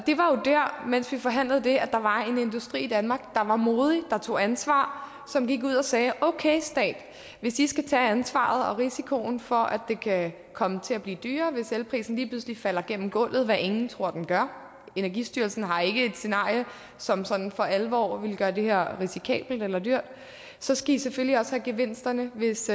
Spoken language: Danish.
mens vi forhandlede det at der var en industri i danmark der var modig der tog ansvar og som gik ud og sagde okay stat hvis i skal tage ansvaret og risikoen for at det kan komme til at blive dyrere hvis elprisen lige pludselig falder gennem gulvet hvad ingen tror at den gør energistyrelsen har ikke et scenarie som sådan for alvor vil gøre det her risikabelt eller dyrt så skal i selvfølgelig også have gevinsterne hvis